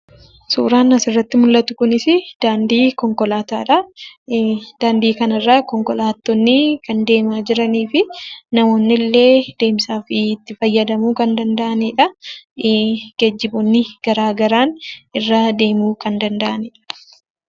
Suuraan asirratti mul'atu kunis daandii konkolaataadha. Daandii kanarra konkolaattonni kan deemaa jiranii fi namoonni illee deemsaaf itti fayyadamuu kan danda'anidha. Geejjiboonni garaagaraan irra deemuu kan danda'anidha.